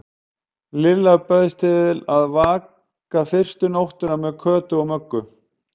Lilla bauðst til að vaka fyrstu nóttina með Kötu og Möggu.